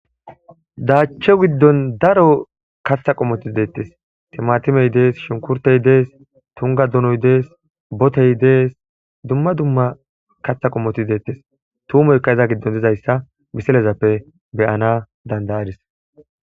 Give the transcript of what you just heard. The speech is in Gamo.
Daachcho giddon daro katha qomoti deettes, timatimey dees, shunkurtey dees, tungga donoy dees, botey dees, dumma dumma katha qomoti deettes. Tuumoykka iza giddon dizayssa misilezappe be'ana danda'adis.